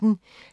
DR P1